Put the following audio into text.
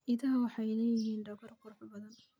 Idaha waxay leeyihiin dhogor qurux badan.